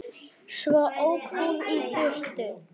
Svo ók hún í burtu.